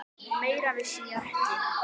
Meira vissi ég ekki.